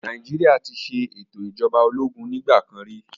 Nàìjíríà ti ṣe ètò ìjọba ológun ní ìgbà kan rí